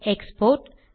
export